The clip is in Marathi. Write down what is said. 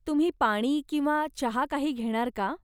तुम्ही पाणी किंवा चहा काही घेणार का ?